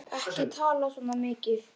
Ekki tala svona mikið!